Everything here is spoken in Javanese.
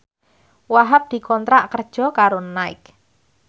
Wahhab dikontrak kerja karo Nike